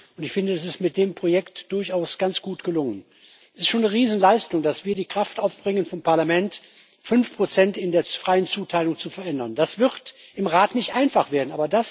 Und ich finde, das ist mit dem Projekt durchaus ganz gut gelungen. Es ist schon eine Riesenleistung, dass wir vom Parlament die Kraft aufbringen, fünf Prozent in der freien Zuteilung zu verändern. Das wird im Rat nicht einfach werden.